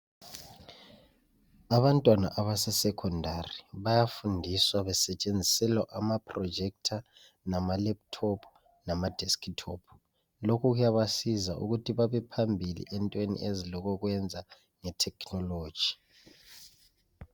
Abantwana abase sekhondari bayafundiswa besetshenziselwa amaprojetha lamalephuthophu lamadeskithophu. Lokhu kuyabasiza ukuthi babephambili entweni ezilokwenza lethekhinoloji.